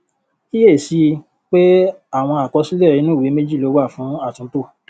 kíyèsí i pé àwọn àkọsílẹ inu ìwé méjì lo wà fún àtúntò